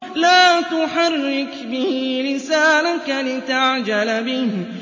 لَا تُحَرِّكْ بِهِ لِسَانَكَ لِتَعْجَلَ بِهِ